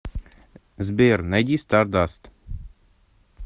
сбер найди стардаст